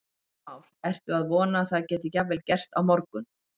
Heimir Már: Ertu að vona að það geti jafnvel gerst á morgun?